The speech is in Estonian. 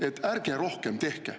… et ärge rohkem tehke.